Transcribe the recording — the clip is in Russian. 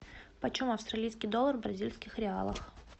почем австралийский доллар в бразильских реалах